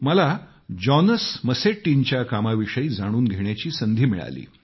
मला जॉनस मसेट्टींच्या कामाविषयी जाणून घेण्याची संधी मिळाली